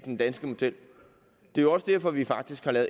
den danske model det er jo også derfor at vi faktisk har